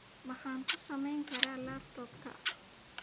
Maxaan ku samayn karaa laptop-ka?